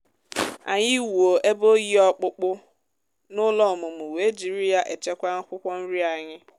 anyị wuo ebe oyi ọkpụkpụ n'ụlọ ọmụmụ wee jiri ya echekwa akwụkwọ nri anyị.